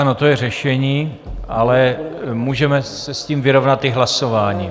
Ano, to je řešení, ale můžeme se s tím vyrovnat i hlasováním.